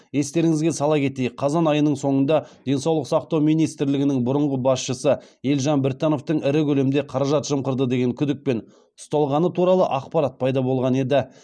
естеріңізге сала кетейік қазан айының соңында денсаулық сақтау министрлігінің бұрынғы басшысы елжан біртановтың ірі көлемде қаражат жымқырды деген күдікпен ұсталғаны туралы ақпарат пайда болған еді